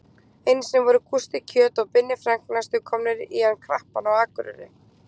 Einu sinni voru Gústi kjöt og Binni Frank næstum komnir í hann krappan á Akureyri.